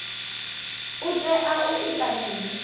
u tea u ita mini